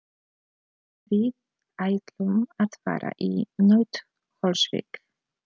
Við ætlum að fara í Nauthólsvík.